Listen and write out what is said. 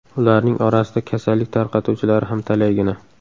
Ularning orasida kasallik tarqatuvchilari ham talaygina.